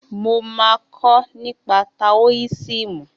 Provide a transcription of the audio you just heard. Mo máa kọ́ nípa táóisìmù